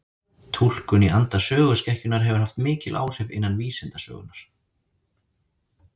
Túlkun í anda söguskekkjunnar hefur haft mikil áhrif innan vísindasögunnar.